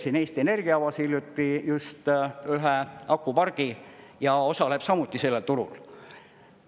Siin Eesti Energia avas hiljuti just ühe akupargi ja osaleb samuti sellel turul.